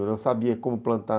Eu não sabia como plantar.